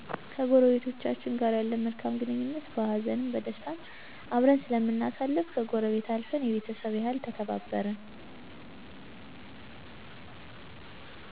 ከጎረቤቶቻችን ጋር ያለን መልካም ግንኙነት በሃዘንም በደስታም አብረን ስለምናሳልፍ ከጎረቤት አልፈን የቤተሰብ ያህል ተከባብረን